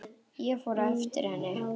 Ég fór á eftir henni.